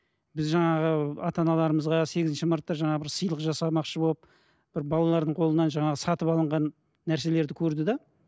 біз жаңағы ата аналарымызға сегінші мартта жаңағы бір сыйлық жасамақшы болып бір балалардың қолынан жаңағы сатып алынған нәрселерді көрді де